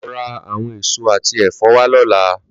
Lò rá áwòn ésó àtí èfò wá lòlá